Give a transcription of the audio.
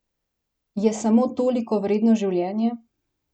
Je samo toliko vredno življenje?